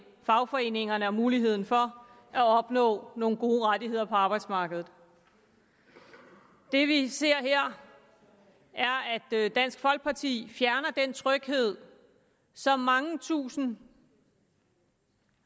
fagforeningerne og dermed muligheden for at opnå nogle gode rettigheder på arbejdsmarkedet det vi ser her er at dansk folkeparti fjerner den tryghed som mange tusinde